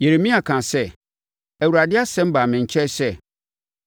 Yeremia kaa sɛ, “ Awurade asɛm baa me nkyɛn sɛ,